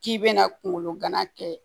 K'i bɛna kunkolo gana kɛ